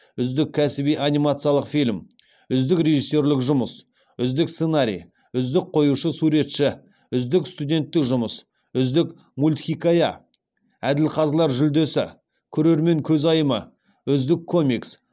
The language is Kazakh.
үздік кәсіби анимациялық фильм үздік режиссерлік жұмыс үздік сценарий үздік қоюшы суретші үздік студенттік жұмыс үздік мультхикая әділқазылар жүлдесі көрермен көзайымы үздік комикс